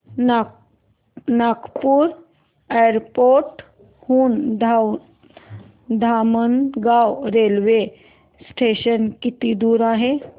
Nagpur airport हून Dhamangaon railway station किती दूर आहे